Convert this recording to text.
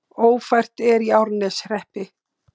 Ófært er í Árneshreppi